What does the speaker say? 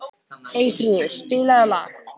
Eyþrúður, spilaðu lag.